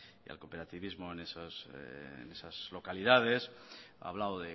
y al cooperativismo en esas localidades ha hablado